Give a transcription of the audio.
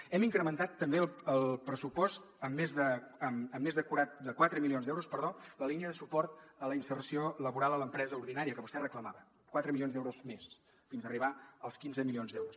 hem incrementat també al pressupost amb més de quatre milions d’euros la línia de suport a la inserció laboral a l’empresa ordinària que vostè reclamava quatre milions d’euros més fins a arribar als quinze milions d’euros